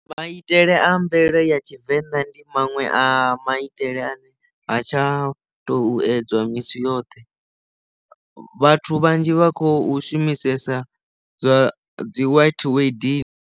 Maitele a mvelele ya tshivenḓa ndi maṅwe a maitele ane ha tsha tou edzwa misi yoṱhe vhathu vhanzhi vha khou shumisesa zwa dzi white wedding.